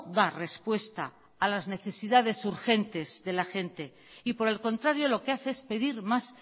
da respuesta a las necesidades urgentes de la gente y por el contrario lo que hace es pedir más